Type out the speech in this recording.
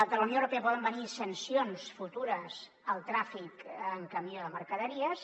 de la unió europea en poden venir sancions futures al tràfic en camió de mercaderies